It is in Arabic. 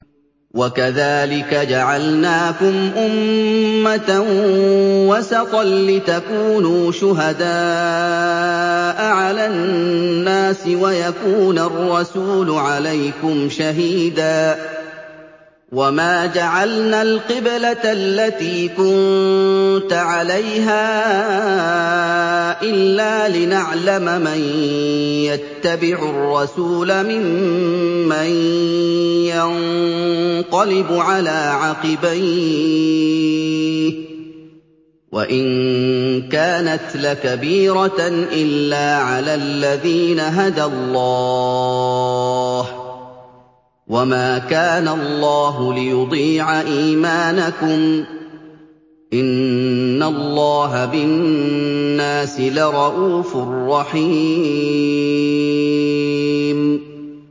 وَكَذَٰلِكَ جَعَلْنَاكُمْ أُمَّةً وَسَطًا لِّتَكُونُوا شُهَدَاءَ عَلَى النَّاسِ وَيَكُونَ الرَّسُولُ عَلَيْكُمْ شَهِيدًا ۗ وَمَا جَعَلْنَا الْقِبْلَةَ الَّتِي كُنتَ عَلَيْهَا إِلَّا لِنَعْلَمَ مَن يَتَّبِعُ الرَّسُولَ مِمَّن يَنقَلِبُ عَلَىٰ عَقِبَيْهِ ۚ وَإِن كَانَتْ لَكَبِيرَةً إِلَّا عَلَى الَّذِينَ هَدَى اللَّهُ ۗ وَمَا كَانَ اللَّهُ لِيُضِيعَ إِيمَانَكُمْ ۚ إِنَّ اللَّهَ بِالنَّاسِ لَرَءُوفٌ رَّحِيمٌ